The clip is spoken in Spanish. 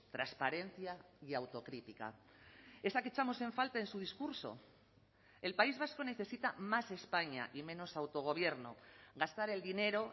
transparencia y autocrítica esa que echamos en falta en su discurso el país vasco necesita más españa y menos autogobierno gastar el dinero